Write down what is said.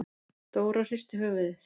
Dóra hristi höfuðið.